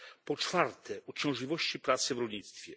Po czwarte uciążliwości pracy w rolnictwie.